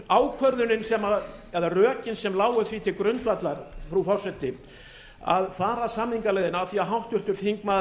ákvörðunin eða rökin sem lágu því til grundvallar frú forseti að fara samningaleiðina af því að háttvirtur þingmaður